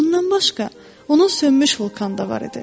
Bundan başqa, onun sönmüş vulkanı da var idi.